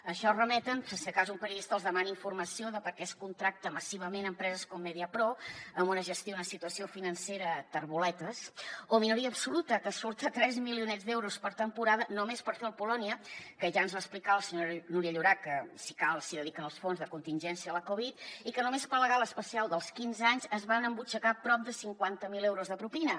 a això es remeten per si de cas un periodista els demana informació de per què es contracta massivament empreses com mediapro amb una gestió i una situació financera terboletes o minoria absoluta que surt a tres milionets d’euros per temporada només per fer el polònia que ja ens va explicar la senyora núria llorach que si cal s’hi dediquen els fons de contingència a la covid i que només per la gala especial dels quinze anys es van embutxacar prop de cinquanta mil euros de propina